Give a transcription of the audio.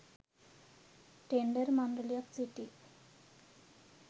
Tender මණ්ඩලයක් සිටී.